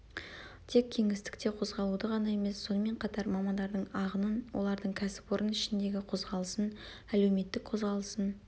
тек кеңістікте қозғалуды ғана емес сонымен қатар мамандардың ағынын олардың кәсіпорын ішіндегі қозғалысын әлеуметтік қозғалысын